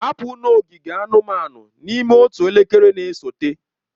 Hapụ n'ogige anụmanụ n'ime otu elekere na-esote!